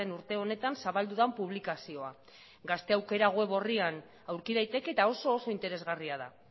urte honetan zabaldu den publikazioa gazte aukera weborrian aurki daiteke eta oso oso interesgarria da